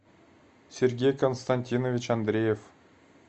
сергей константинович андреев